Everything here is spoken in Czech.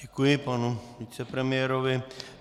Děkuji panu vicepremiérovi.